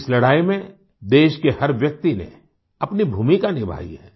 इस लड़ाई में देश के हर व्यक्ति ने अपनी भूमिका निभाई है